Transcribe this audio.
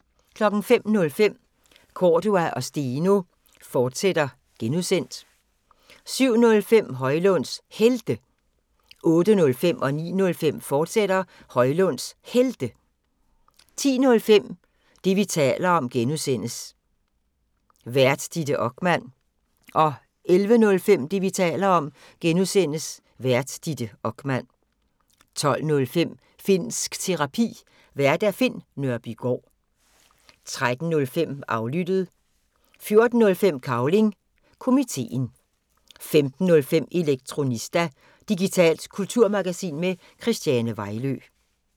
05:05: Cordua & Steno, fortsat (G) 07:05: Højlunds Helte 08:05: Højlunds Helte, fortsat 09:05: Højlunds Helte, fortsat 10:05: Det, vi taler om (G) Vært: Ditte Okman 11:05: Det, vi taler om (G) Vært: Ditte Okman 12:05: Finnsk Terapi. Vært Finn Nørbygaard 13:05: Aflyttet 14:05: Cavling Komiteen 15:05: Elektronista – digitalt kulturmagasin med Christiane Vejlø